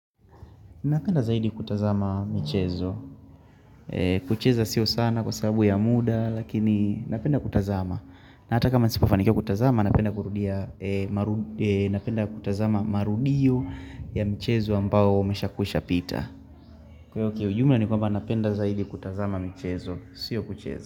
Napenda zaidi kutazama michezo. Kucheza sio sana kwa sababu ya muda lakini napenda kutazama. Na hata kama nisipofanikia kutazama napenda kutazama marudio ya michezo ambao umesha kushapita. Kwa hivyo kiujumla ni kwamba napenda zaidi kutazama michezo. Sio kucheza.